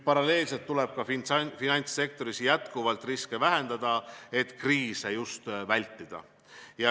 Paralleelselt tuleb finantssektoris jätkuvalt riske vähendada, et kriise vältida.